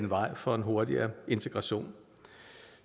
vejen for en hurtig integration